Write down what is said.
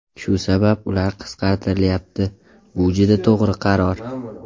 Shu sabab ular qisqartirilyapti, bu juda to‘g‘ri qaror.